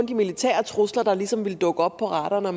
de militære trusler der ligesom ville dukke op på radaren og at